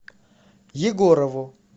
егорову